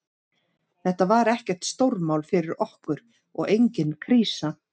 Þetta var ekkert stórmál fyrir okkur og engin krísa.